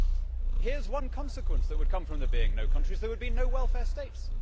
Well, here is one consequence that would come from there being no countries there would be no welfare states.